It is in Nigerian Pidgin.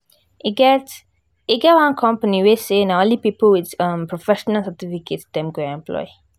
e get e get one company wey say na only people with professional certificate dem go employ